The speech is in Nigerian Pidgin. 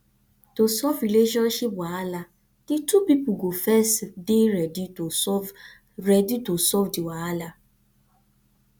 to solve relationship wahala di two pipo go first dey ready to solve ready to solve di wahala